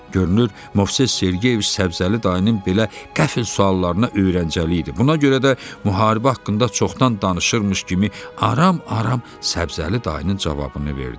Görünür Movses Sergeyeviç Səbzəli dayının belə qəfil suallarına öyrəncəli idi, buna görə də müharibə haqqında çoxdan danışırmış kimi aram-aram Səbzəli dayının cavabını verdi.